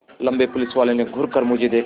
लम्बे पुलिसवाले ने घूर कर मुझे देखा